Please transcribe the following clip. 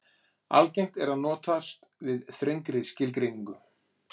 Algengt er að notast við þrengri skilgreiningu.